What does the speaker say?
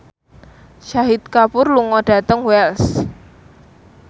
Shahid Kapoor lunga dhateng Wells